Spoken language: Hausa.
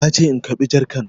Ya ce in karɓi jarkan